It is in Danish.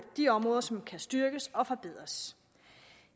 de områder som kan styrkes og forbedres